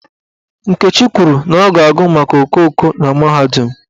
Nkechi kwuru na ọ ga-agụ maka okooko na mahadum.